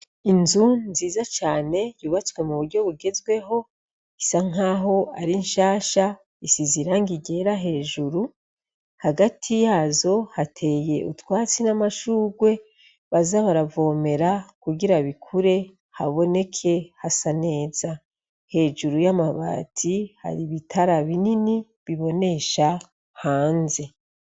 Inzu nziza cane yubatswe mu buryo bugezweho isa nkaho ari nshasha isize irangi ryera hejuru hagati yazo hateye utwatsi n'amashurwe baza baravomera kugira bikure haboneke hasa neza ,hejuru y'amabati hari ibitara binini bibonesha hanze.